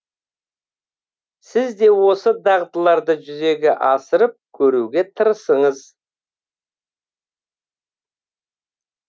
сіз де осы дағдыларды жүзеге асырып көруге тырысыңыз